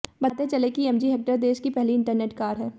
बतातें चले कि MG Hector देश की पहली इंटरनेट कार है